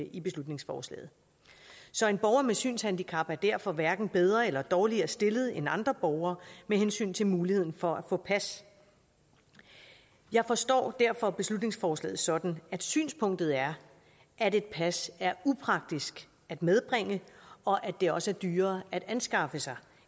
i beslutningsforslaget så en borger med synshandicap er derfor hverken bedre eller dårligere stillet end andre borgere med hensyn til muligheden for at få pas jeg forstår derfor beslutningsforslaget sådan at synspunktet er at et pas er upraktisk at medbringe og at det også er dyrere at anskaffe sig